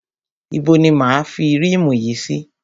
Ibo ni máa a fi rímù yìí sí?